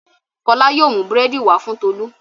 Fọlá yóò mú búrẹ́dì wá fún Tolú.